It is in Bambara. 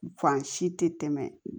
Fan si tɛ tɛmɛ